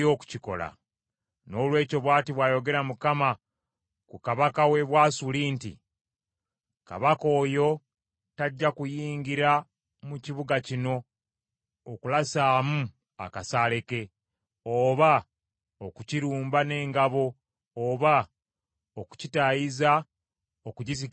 “Noolwekyo bw’ati bw’ayogera Mukama ku bikwata ku Kabaka w’e Bwasuli nti, “Kabaka oyo taliyingira mu kibuga kino wadde okulasayo akasaale. Talikisemberera n’engabo newaakubadde okutuumako ekifunvu ng’akitaayiza.